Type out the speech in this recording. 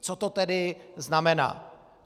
Co to tedy znamená.